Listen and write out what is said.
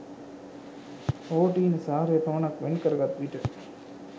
ප්‍රෝටීන සාරය පමණක් වෙන් කරගත් විට